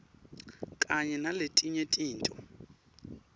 kanye naletinye tintfo